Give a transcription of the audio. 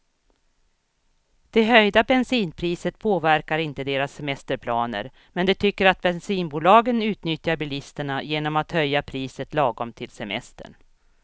Det höjda bensinpriset påverkar inte deras semesterplaner, men de tycker att bensinbolagen utnyttjar bilisterna genom att höja priset lagom till semestern.